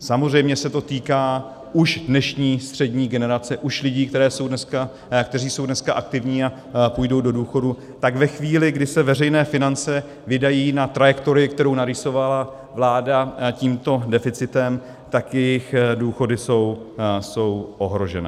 Samozřejmě se to týká už dnešní střední generace, už lidí, kteří jsou dneska aktivní a půjdou do důchodu, tak ve chvíli, kdy se veřejné finance vydají na trajektorii, kterou narýsovala vláda tímto deficitem, tak jejich důchody jsou ohrožené.